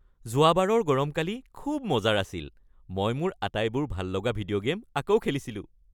যোৱাবাৰৰ গৰমকালি খুব মজাৰ আছিল। মই মোৰ আটাইবোৰ ভাল লগা ভিডিঅ' গে'ম আকৌ খেলিছিলোঁ।